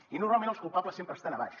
i normalment els culpables sempre estan a baix